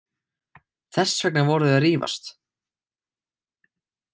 Þess vegna voru þau að rífast.